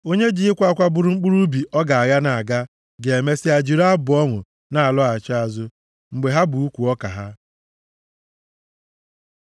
Onye ji ịkwa akwa buru mkpụrụ ubi ọ ga-agha na-aga, ga-emesịa jiri abụ ọṅụ na-alọghachi azụ, mgbe ha bu ukwu ọka ha.